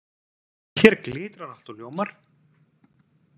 Hér glitrar allt og ljómar.